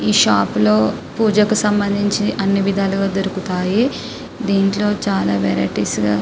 ఏ shop లో పూజకి సంబంధించి అన్ని వియుధాలుగా దొరుకుతాయి. దీంట్లో చాల వెరైటీస్ గా --